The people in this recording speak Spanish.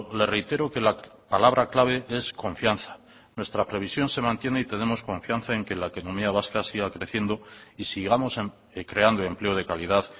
le reitero que la palabra clave es confianza nuestra previsión se mantiene y tenemos confianza en que la economía vasca siga creciendo y sigamos creando empleo de calidad